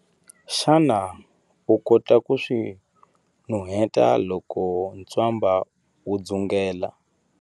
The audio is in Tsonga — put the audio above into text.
Xana u kota ku swi nuheta loko ntswamba wu dzungela?